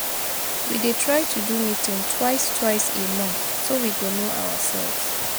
We dey try do meeting twice twice a month so we go no ourselves